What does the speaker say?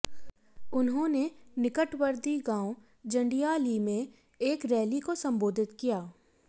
उन्होंने निकटवर्ती गांव जंडियाली में एक रैली को संबोधित किया